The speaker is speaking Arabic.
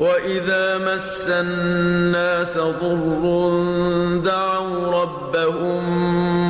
وَإِذَا مَسَّ النَّاسَ ضُرٌّ دَعَوْا رَبَّهُم